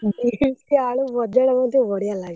Beam ଆଳୁ ଭଜା ଟା ମତେ ବଢିଆ ଲାଗେ!